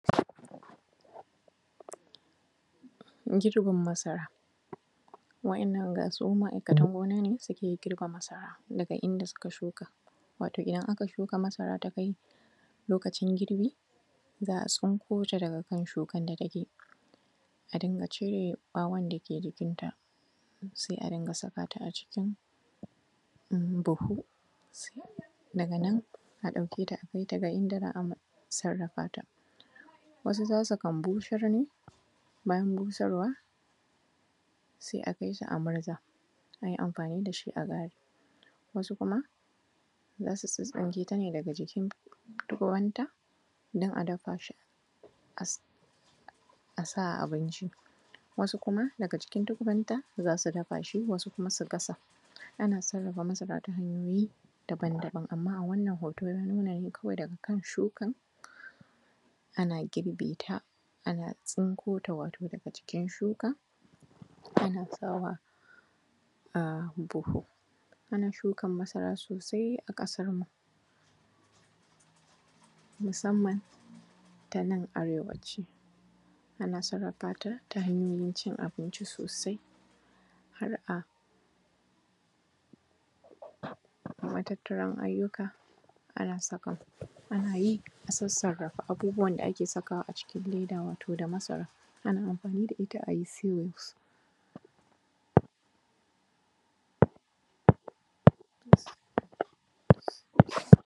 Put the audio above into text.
Girbin masara. waɗannan ga su ma’aikatan gona na suke girbe masara, daga inda suka shuka. Wato idan aka shuka masara ta kai lokacin girbi, za a tsinko ta daga kan shukan da take, a dinga cire ɓawon da ke jikinta, sai a dinga sa ta a cikin buhu, daga nan a ɗauke ta a kai ta ga inda za a sarrafa ta. Wasu za su kambu shirmi, bayan busarwa, sai a kai su a murza, a yi amfani da shi a gari. Wasu kuma za su tsittsinke ta ne daga jikin tukubanta don a dafa shi a sa a abinci. Wasu kuma daga jikin tukubanta za su dafa shi wasu kuma su gasa. Ana sarrafa masara ta hanyoyi daban daban, amma a wannan hoto ya nuna ne kawai daga kan shukan, ana girbe ta, ana tsinko ta wato daga jikin shukan, ana sawa a buhu. Ana shukar masarasosai a ƙasarmu, musamman ta nan arewaci, ana sarrafa ta, ta hanyoyin cin abinci sosai, har a matattaran ayyuka ana saka,, ana yi, a sassaka abubuwan da ake sakawa cikin leda, wato da masara, ana amfani da ita wato a yi seal.